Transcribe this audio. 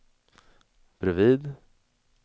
bredvid